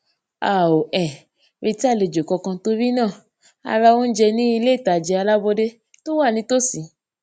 a ò um retí àlejò kankan torí náà a ra oúnjẹ ní iléìtajà alábọdé tó wà nítòsí